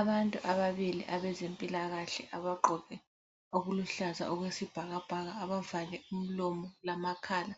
Abantu ababili abezempilakahle abagqoke okuluhluza okwesibhakabhaka abavale umlomo lamakhala,